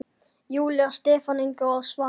Júlía, Stefán Ingi og Svanur.